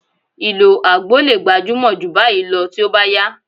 Ìlò àgbo lè gbajúmọ̀ jù báyìí lọ tí ó bá yá